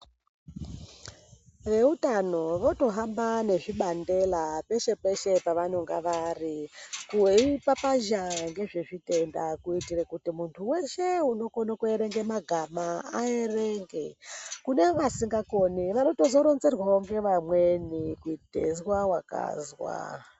Veutano votohamba nezvibandela peshe-peshe pevanenge vari. Veipapazha ngezvezvitenda. Kuitira kuti muntu veshe unokone kuerenga magama aerenge. Kune vasingakoni vanotozoronzerwawo ngevamweni kuite izwa vakazwa.